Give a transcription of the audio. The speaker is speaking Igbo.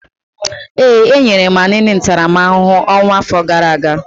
Ee, e nyere Anini ntaramahụhụ ọnwụ afọ gara aga.